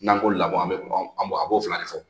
N'an ko lamɔ an bɛ kuma an b'o a b'o fila de fɔ